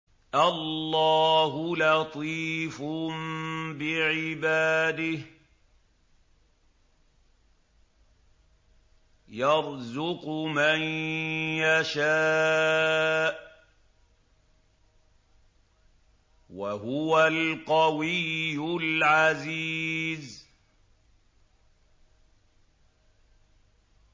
اللَّهُ لَطِيفٌ بِعِبَادِهِ يَرْزُقُ مَن يَشَاءُ ۖ وَهُوَ الْقَوِيُّ الْعَزِيزُ